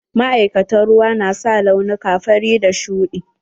Ma'aikatan ruwa na sa launuka fari da shuɗi.